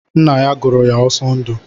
Ńnà yá gụrụ ya Osondu.